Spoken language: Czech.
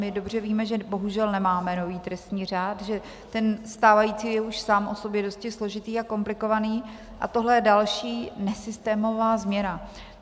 My dobře víme, že bohužel nemáme nový trestní řád, že ten stávající je už sám o sobě dosti složitý a komplikovaný, a tohle je další nesystémová změna.